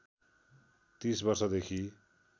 ३० वर्ष देखि